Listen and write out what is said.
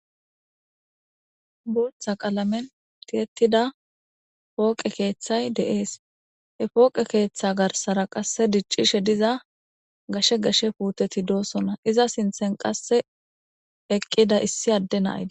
Booththa qalamen thiyeththida pooqe krrththay de7ees; he pooqe keeththaa garssara qassi diccishe diza gashe gashe puuthethi doosona; iza sinththen qassi eqqida issi adde na7ay de7es.